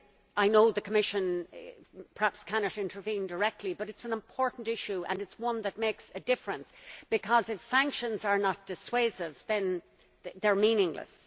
I know the Commission perhaps cannot intervene directly, but it is an important issue and it is one that makes a difference, because if sanctions are not dissuasive then they are meaningless.